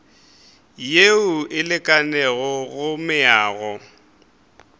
yeo e lekanego go meago